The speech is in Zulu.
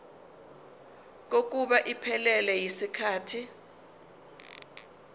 kokuba iphelele yisikhathi